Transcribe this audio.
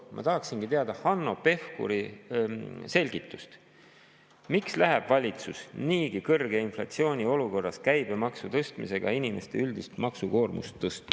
Ma tahaksingi teada Hanno Pevkuri selgitust, miks läheb valitsus niigi kõrge inflatsiooni olukorras käibemaksu tõstmisega inimeste üldist maksukoormust tõstma.